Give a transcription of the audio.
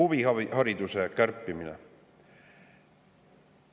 Ja huvihariduse kärpimine.